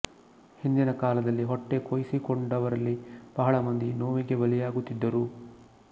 ಹಿಂದಿನ ಕಾಲದಲ್ಲಿ ಹೊಟ್ಟೆ ಕೊಯ್ಸಿಕೊಂಡವರಲ್ಲಿ ಬಹಳ ಮಂದಿ ನೋವಿಗೆ ಬಲಿಯಾಗುತ್ತಿದ್ದರು